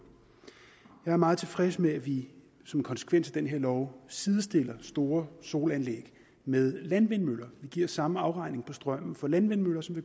jeg er meget tilfreds med at vi som konsekvens af den her lov sidestiller store solanlæg med landvindmøller vi giver samme afregning på strømmen for landvindmøller som